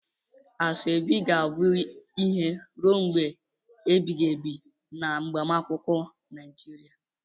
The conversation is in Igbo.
Asoebi ga-abụ ihe ruo mgbe ebighị ebi na agbamakwụkwọ Nigeria.